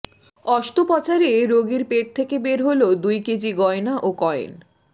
অস্ত্রোপচারে রোগীর পেট থেকে বের হলো দুই কেজি গয়না ও কয়েন